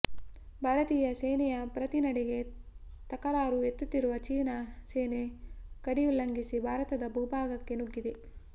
ಭಾರತೀಯ ಸೇನೆಯ ಪ್ರತಿ ನಡೆಗೆ ತಕರಾರು ಎತ್ತುತ್ತಿರುವ ಚೀನಾ ಸೇನೆ ಗಡಿ ಉಲ್ಲಂಘಿಸಿ ಭಾರತದ ಭೂಭಾಗಕ್ಕೆ ನುಗ್ಗಿದೆ